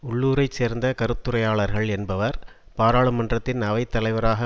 உள்ளூரைச் சேர்ந்த கருத்துரையாளர்கள் என்பவர் பாராளுமன்றத்தின் அவை தலைவராக